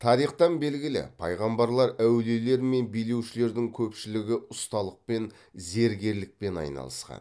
тарихтан белгілі пайғамбарлар әулиелер мен билеушілердің көпшілігі ұсталықпен зергерлікпен айналысқан